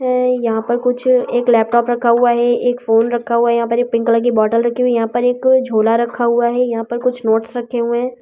यहां पर कुछ एक लैपटॉप रखा हुआ है एक फोन रखा हुआ है यहां पर एक पिंक कलर की बोतल रखी हुई है यहां पर एक झोला रखा हुआ है यहां पर कुछ नोट्स रखे हुए हैं।